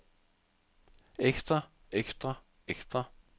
ekstra ekstra ekstra